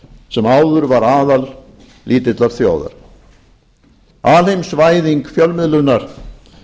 sem áður var aðal lítillar þjóðar alheimsvæðing fjölmiðlunar